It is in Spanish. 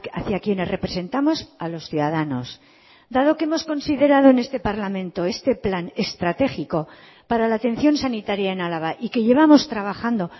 hacia quienes representamos a los ciudadanos dado que hemos considerado en este parlamento este plan estratégico para la atención sanitaria en álava y que llevamos trabajando